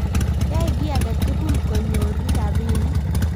yoe kiy age tugul konyoru robinik